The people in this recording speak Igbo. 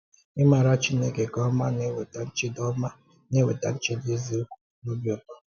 Ịmara Chineke nke ọma na-eweta nchedo ọma na-eweta nchedo eziokwu na obi ụtọ.